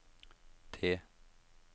det